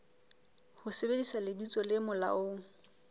ho sebedisa lebitso le molaong